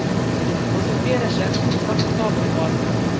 O‘zimga yarasha hisob-kitobim bor.